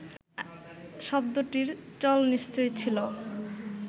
শব্দটির চল নিশ্চয় ছিল